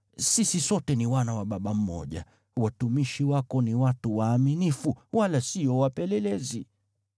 Sisi sote ni wana wa baba mmoja. Watumishi wako ni watu waaminifu, wala sio wapelelezi.”